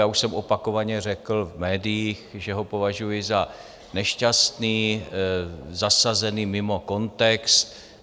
Já už jsem opakovaně řekl v médiích, že ho považuji za nešťastný, zasazený mimo kontext.